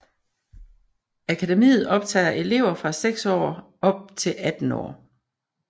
Akademiet optager elever fra 6 år op til 18 år